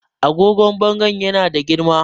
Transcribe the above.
agogon bangon yana da girma